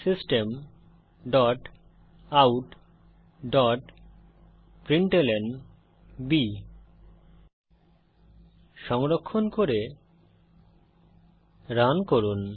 system dot out dot println সংরক্ষণ করে run করুন